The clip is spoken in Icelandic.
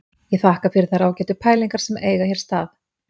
Ég þakka fyrir þær ágætu pælingar sem eiga hér stað.